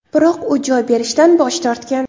Biroq u joy berishdan bosh tortgan.